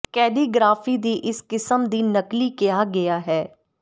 calligraphy ਦੀ ਇਸ ਕਿਸਮ ਦੀ ਨਕਲੀ ਕਿਹਾ ਗਿਆ ਹੈ